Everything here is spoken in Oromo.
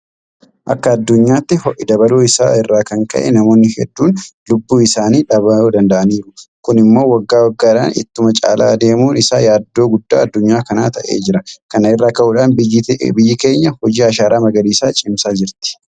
Akka addunyaatti ho'i dabaluu isaa irraa kan ka'e namoonni hedduun lubbuu isaanii dhabuu danda'aniiru. Kun immoo waggaa waggaadhaan ittuma caalaa adeemuun isaa yaaddoo guddaa addunyaa kanaa ta'aa jira. Kana irraa ka'uudhaan biyyi keenya hojii ashaaraa magariisaa cimsaa jirti.